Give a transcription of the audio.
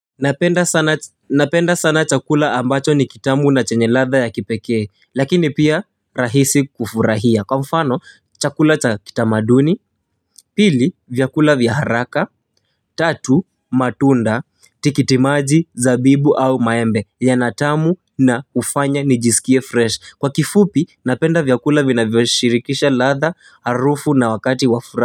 Napenda sana chakula ambacho ni kitamu na chenye latha ya kipekee lakini pia rahisi kufurahia kwa mfano chakula cha kitamaduni pili vyakula vyaharaka tatu matunda tikitimaji zabibu au maembe ya natamu na hufanya nijisikie fresh kwa kifupi napenda vyakula vina vyoshirikisha latha harufu na wakati wafura.